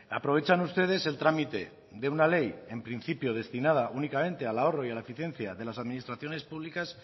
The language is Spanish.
aprovechan ustedes el trámite de una ley en principio destinada únicamente al ahorro y a la eficiencia de las administraciones públicas